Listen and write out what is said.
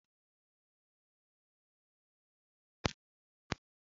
Ana m eri macaroni na kichin